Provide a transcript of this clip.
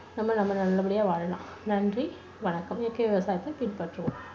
நம்ப நம்ம நல்லபடியா வாழலாம். நன்றி, வணக்கம். இயற்கை விவசாயத்தை பின்பற்றுவோம்.